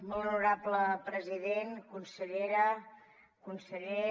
molt honorable president consellera conseller